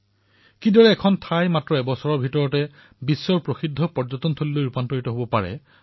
আমি সকলোৱে ইয়াৰ সাক্ষী যে কিদৰে এবছৰৰ ভিতৰত এটা স্থান বিশ্ব প্ৰসিদ্ধ পৰ্যটন স্থান হিচাপত বিকশিত হৈ উঠিব পাৰে